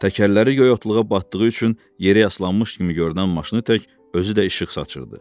Təkərləri qoyotluğa batdığı üçün yerə yaslanmış kimi görünən maşını tək özü də işıq saçırdı.